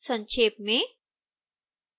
संक्षेप में